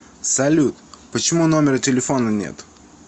салют почему номера телефона нет